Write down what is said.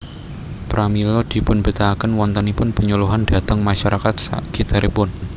Pramila dipunbetahaken wontenipun penyuluhan dhateng masarakat sakiteripun